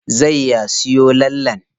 Zai ya siyo lallen?